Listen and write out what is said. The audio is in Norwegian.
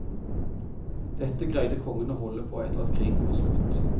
Dette greide kongen å holde på etter at krigen var slutt.